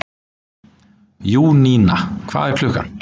Júníana, hvað er klukkan?